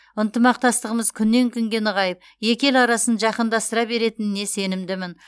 ынтымақтастығымыз күннен күнге нығайып екі ел арасын жақындастыра беретініне сенімдімін